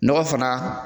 Nɔgɔ fana